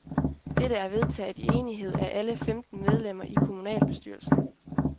Dette er vedtaget i enighed af alle femten medlemmer i kommunalbestyrelsen.